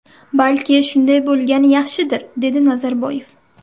Balki, shunday bo‘lgani yaxshidir”, ― dedi Nazarboyev.